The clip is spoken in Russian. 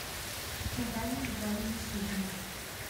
наталья витальевна сюзина